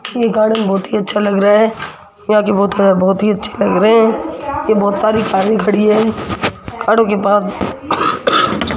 ये गार्डन बहोत ही अच्छा लग रहा है यहां की ब बहोत ही अच्छे लग रहे है ये बहोत सारी कारे खड़ी है कारो के पास --